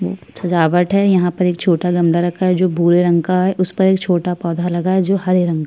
सजावट है यहाँ पर एक छोटा गमला रखा है जो भूरे रंग का है उस पर एक छोटा पौधा लगा है जो हरे रंग का--